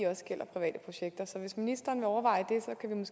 også gælder private projekter så hvis ministeren vil overveje